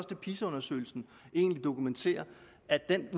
det pisa undersøgelsen egentlig dokumenterer at den